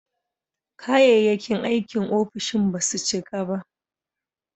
Kayayyakin aikin ofishin ba su cika ba.